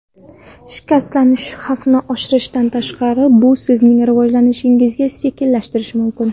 Shikastlanish xavfini oshirishdan tashqari, bu sizning rivojlanishingizni sekinlashtirishi mumkin.